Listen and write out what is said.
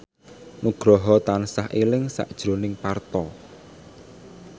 Nugroho tansah eling sakjroning Parto